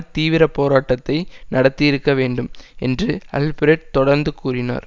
தீவிர போராட்டத்தை நடத்தியிருக்க வேண்டும் என்று அல்பிரெட் தொடர்ந்து கூறினார்